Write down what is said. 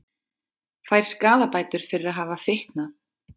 Fær skaðabætur fyrir að hafa fitnað